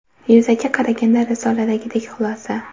Yuzaki qaraganda, risoladagidek xulosa.